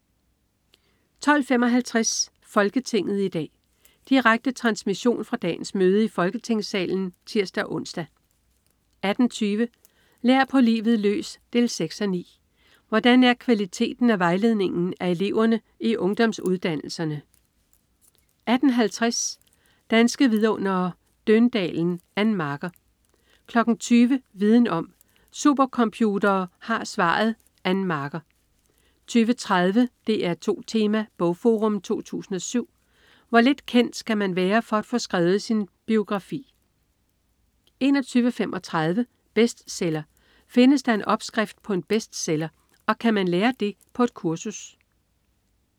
12.55 Folketinget i dag. Direkte transmission fra dagens møde i Folketingssalen (tirs-ons) 18.20 Lær på livet løs 6:9. Hvordan er kvaliteten af vejledningen af eleverne i ungdomsuddannelserne? 18.50 Danske Vidundere: Døndalen. Ann Marker 20.00 Viden om: Supercomputere har svaret. Ann Marker 20.30 DR2 Tema: BogForum 2007. Hvor lidt kendt skal man være for at få skrevet sin biografi? 21.35 Bestseller. Findes der en opskrift på en bestseller? Og kan man lære den på et kursus?